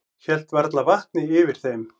Hélt varla vatni yfir þeim.